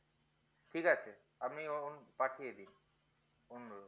ঠিক আছে আপনি পাঠিয়ে দেয় অনুরোদ